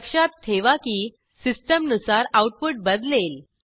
लक्षात ठेवा की सिस्टीम नुसार आऊटपुट बदलेल